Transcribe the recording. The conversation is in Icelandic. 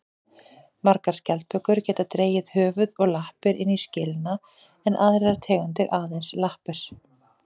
Margar skjaldbökur geta dregið höfuð og lappir inn í skelina en aðrar tegundir aðeins lappir.